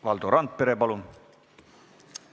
Valdo Randpere, palun!